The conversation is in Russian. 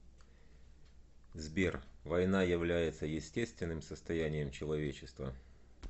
сбер война является естественным состоянием человечества